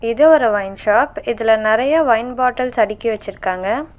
இது ஒரு wine shop இதுல நெறைய ஒயின் பாட்டல்ஸ் அடுக்கி வச்சுருக்காங்க.